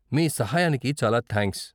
మీ సహాయానికి చాలా థ్యాంక్స్.